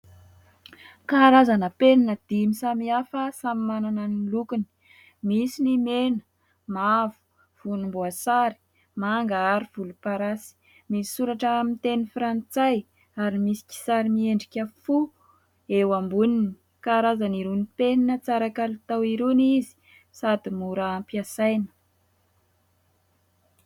Karazana penina dimy samihafa samy manana ny lokony : misy ny mena, mavo, volomboasary, manga ary volomparasy. Misoratra amin'ny teny frantsay ary misy kisary miendrika fo eo amboniny ; karazana irony penina tsara kalitao irony izy sady mora ampiasaina.